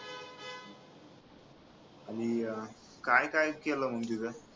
काय काय केलं मग तिथं